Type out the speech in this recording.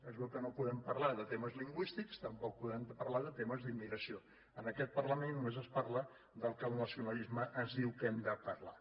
es veu que no podem parlar de temes lingüístics tampoc podem parlar de temes d’immigració en aquest parlament només es parla del que el nacionalisme ens diu que hem de parlar